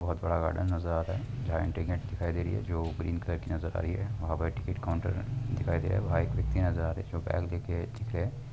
बोहोत बड़ा गार्डन नज़र आ रहा है जहाँ एंट्री गेट दिखाई दे रही है जो ग्रीन कलर की नज़र आ रही है वहां टिकेट काउन्टर है। दिखाई दे रा है वहाँ एक व्यक्ती नज़र आ रै है जो बैग लेके ठीक है |